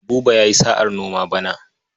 Buba ya sa'ar noma bana.